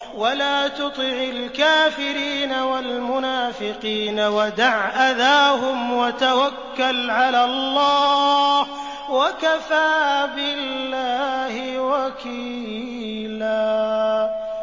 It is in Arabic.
وَلَا تُطِعِ الْكَافِرِينَ وَالْمُنَافِقِينَ وَدَعْ أَذَاهُمْ وَتَوَكَّلْ عَلَى اللَّهِ ۚ وَكَفَىٰ بِاللَّهِ وَكِيلًا